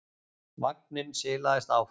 Vagninn silaðist áfram.